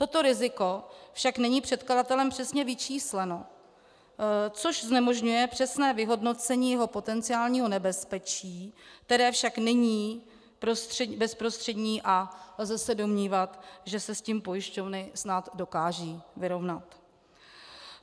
Toto riziko však není předkladatelem přesně vyčísleno, což znemožňuje přesné vyhodnocení jeho potenciálního nebezpečí, které však není bezprostřední, a lze se domnívat, že se s tím pojišťovny snad dokážou vyrovnat.